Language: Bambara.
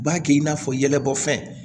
U b'a kɛ i n'a fɔ yɛlɛbɔ fɛn